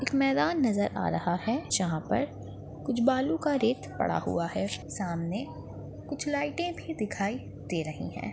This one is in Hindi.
एक मैदान नजर आ रहा है जहाँ पर कुछ बालू का रेत पड़ा हुआ है सामने कुछ लाइटे भी दिखाई दे रही है।